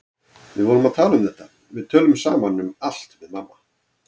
Við vorum að tala saman um þetta, við tölum saman um allt við mamma.